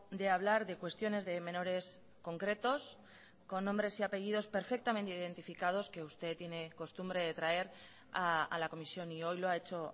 de hablar de cuestiones de menores concretos con nombres y apellidos perfectamente identificados que usted tiene costumbre de traer a la comisión y hoy lo ha hecho